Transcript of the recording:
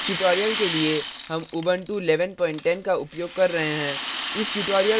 इस tutorial के लिए हम उबंटू 1110 का उपयोग कर रहे हैं